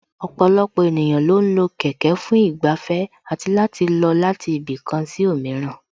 Ọ̀pọ̀lọpọ̀ ènìyàn lo ń lo kẹ̀kẹ́ fún ìgbafẹ́ àti láti lọ láti ibì kan sí òmíràn